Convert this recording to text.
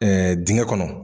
Dingɛ kɔnɔ.